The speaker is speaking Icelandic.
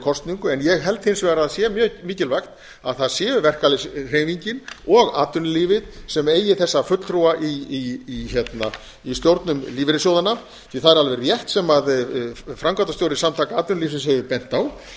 kosningu en ég held hins vegar að það sé mjög mikilvægt að það sé verkalýðshreyfingin og atvinnulífið sem eigi þessa fulltrúa í stjórnum lífeyrissjóðanna því að það er alveg rétt sem framkvæmdastjóri samtaka atvinnulífsins hefur bent á